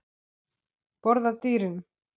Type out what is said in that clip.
Borða dýrin?